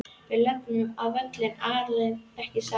Við löbbum á völlinn erlendis ekki satt?